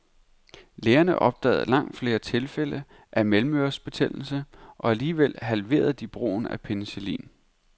Lægerne opdagede langt flere tilfælde af mellemørebetændelse og alligevel halverede de brugen af penicillin.